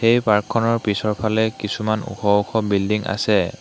এই পাৰ্কখনৰ পিছৰফালে কিছুমান ওখ ওখ বিল্ডিং আছে।